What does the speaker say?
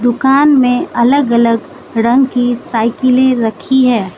दुकान में अलग अलग रंग की साइकिलें रखी हैं।